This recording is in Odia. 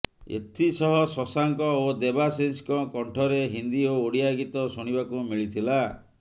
ଏଥିସହ ଶଶାଙ୍କ ଓ ଦେବାଶିଷଙ୍କ କଣ୍ଠରେ ହିନ୍ଦୀ ଓ ଓଡ଼ିଆ ଗୀତ ଶୁଣିବାକୁ ମିଳିଥିଲା